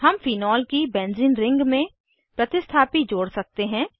हम फेनोल की benzene ring में प्रतिस्थापी जोड़ सकते हैं